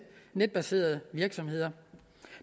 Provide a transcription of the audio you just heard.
netbaserede virksomheder